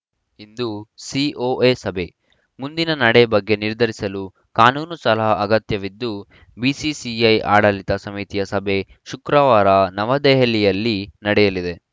ಇಂದು COA ಸಭೆ ಮುಂದಿನ ನಡೆ ಬಗ್ಗೆ ನಿರ್ಧರಿಸಲು ಕಾನೂನು ಸಲಹ ಅಗತ್ಯವಿದ್ದು ಬಿಸಿಸಿಐ ಆಡಳಿತ ಸಮಿತಿಯ ಸಭೆ ಶುಕ್ರವಾರ ನವದೆಹಲಿಯಲ್ಲಿ ನಡೆಯಲಿದೆ